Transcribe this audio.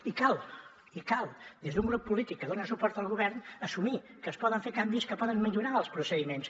i cal i cal des d’un grup polític que dona suport al govern assumir que es poden fer canvis que poden millorar els procediments